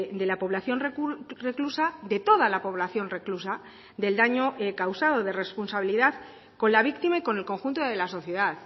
de la población reclusa de toda la población reclusa del daño causado de responsabilidad con la víctima y con el conjunto de la sociedad